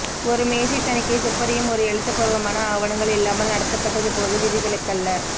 ஒரு மேசை தணிக்கை துப்பறியும் ஒரு எழுத்துப்பூர்வமான ஆவனங்கள் இல்லாமல் நடத்தப்பட்டது போது விதிவிலக்கல்ல